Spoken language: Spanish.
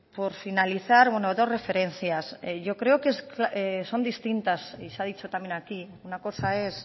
por finalizar dos referencias yo creo que son distintas y se ha dicho también aquí una cosa es